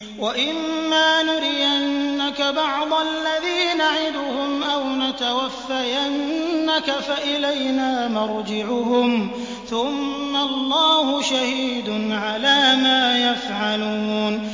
وَإِمَّا نُرِيَنَّكَ بَعْضَ الَّذِي نَعِدُهُمْ أَوْ نَتَوَفَّيَنَّكَ فَإِلَيْنَا مَرْجِعُهُمْ ثُمَّ اللَّهُ شَهِيدٌ عَلَىٰ مَا يَفْعَلُونَ